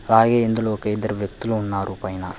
అలాగే ఇందులో ఒక ఇద్దరు వ్యక్తులు ఉన్నారు పైన.